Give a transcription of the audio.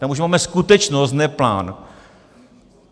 Tam už máme skutečnost, ne plán.